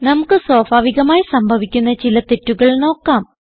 നമുക്ക് സ്വാഭാവികമായി സംഭവിക്കുന്ന ചില തെറ്റുകൾ നോക്കാം